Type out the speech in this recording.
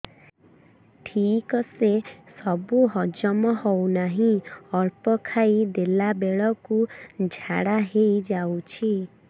ଠିକସେ ସବୁ ହଜମ ହଉନାହିଁ ଅଳ୍ପ ଖାଇ ଦେଲା ବେଳ କୁ ଝାଡା ହେଇଯାଉଛି